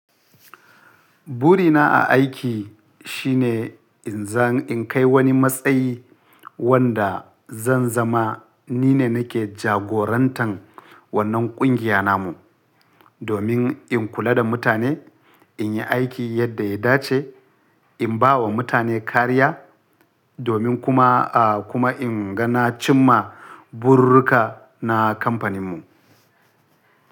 Burina a aiki shine in zan in kai wani matsayi wanda zan zama ni ne nake jagorantar wannan kungiya namu. Domin in kula da mutane, in yi aiki yadda ya dace, in ba wa mutane kariya domin kuma, a kuma in ga na cimma burirruka na kamfaninmu.